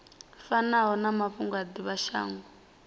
fanaho na mafhungo a divhashango